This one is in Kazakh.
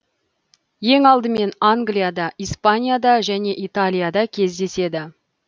ең алдымен англияда испанияда және италияда кездеседі